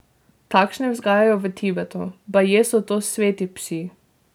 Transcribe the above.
Takšne vzgajajo v Tibetu, baje so to sveti psi.